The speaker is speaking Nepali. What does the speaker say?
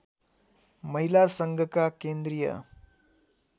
महिला सङ्घका केन्द्रीय